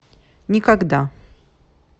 никогда